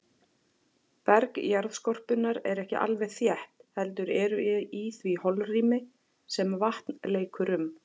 Berg jarðskorpunnar er ekki alveg þétt, heldur eru í því holrými sem vatn leikur um.